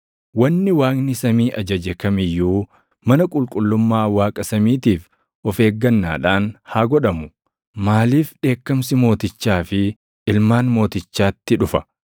Wanni Waaqni samii ajaje kam iyyuu mana qulqullummaa Waaqa samiitiif of eeggannaadhaan haa godhamu. Maaliif dheekkamsi mootichaa fi ilmaan mootichaatti dhufa?